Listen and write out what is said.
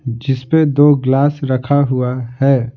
जिस पे दो गिलास रखा हुआ है।